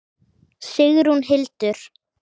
Sigrún Hildur.